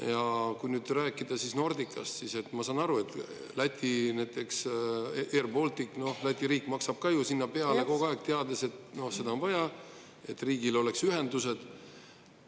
Ja kui nüüd rääkida Nordicast, siis ma saan aru, et näiteks Läti riik maksab ju Air Balticule ka peale kogu aeg, teades, et seda on vaja, et riigil oleks ühendused.